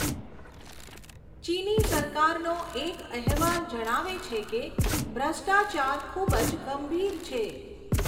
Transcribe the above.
ચીની સરકારનો એક અહેવાલ જણાવે છે કે ભ્રષ્ટાચાર ખૂબ જ ગંભીર છે.